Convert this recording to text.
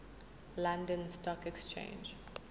london stock exchange